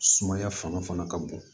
Sumaya fanga fana ka bon